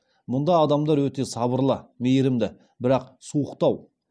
мұнда адамдар өте сабырлы мейрімді бірақ суықтау